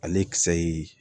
Ale kisɛ ye